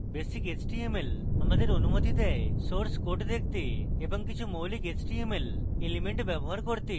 basic html আমাদের অনুমতি দেয় source code দেখতে এবং কিছু মৌলিক html elements ব্যবহার করতে যেমন